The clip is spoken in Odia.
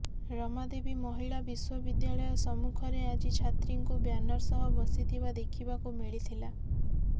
ରମାଦେବୀ ମହିଳା ବିଶ୍ୱବିଦ୍ୟାଳୟ ସମ୍ମୁଖରେ ଆଜି ଛାତ୍ରୀଙ୍କୁ ବ୍ୟାନର ସହ ବସିଥିବା ଦେଖିବାକୁ ମିଳିଥିଲା